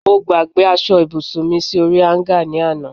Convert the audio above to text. mo gbagbe asọ ibusun mi di orí hanger ni ana